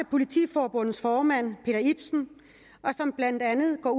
politiforbundets formand peter ibsen og som blandt andet går